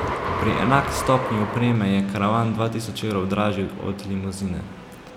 Pri enaki stopnji opreme je karavan dva tisoč evrov dražji od limuzine.